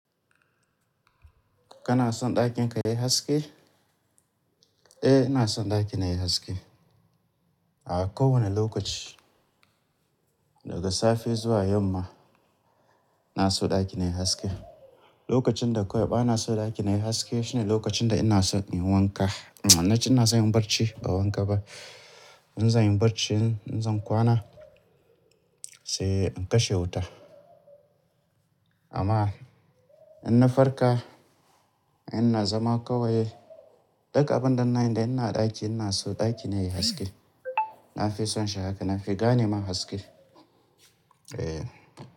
Kana son ɗakin ka yayi haske? Eh, ina son ɗakina yayi haske a kowane lokaci. Daga safe zuwa yamma inaso ɗakina yayi haske. Lokacin da kawai bana so ɗakina yayi haske shine lokacin da ina son in yi wanka. Nace ina son in yi barci ba wanka ba. In zan yi barci in zan kwana sai in kashe wuta. Amma in na farka ina zama kawai duk abun da nayi da ina a ɗaki ina so ɗakina yayi haske. Nafison shi haka, nafi gane ma haske. Eh.